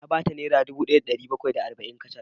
Na ba ta naira dubu daya da dari bakwai da arba’in kacal